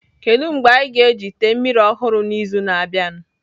Kedu mgbe anyị ga-eji ite mmiri ọhụrụ n'izu na-abịa?